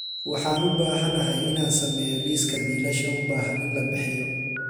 Waxaan u baahanahay inaan sameeyo liiska biilasha u baahan in la bixiyo